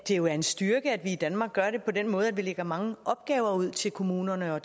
jo er en styrke at vi i danmark gør det på den måde at vi lægger mange opgaver ud til kommunerne og